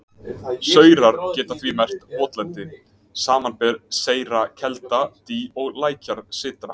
Saurar geta því merkt votlendi, samanber seyra kelda, dý, lækjarsytra.